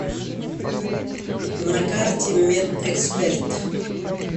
на карте медэксперт